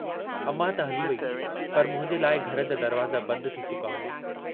अमां त हली वेई पर मुंहिंजे लाइ घर जा दरवाज़ा बंद थी चुका हुआ।